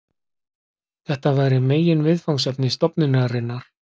Þetta væri meginviðfangsefni stofnunarinnar.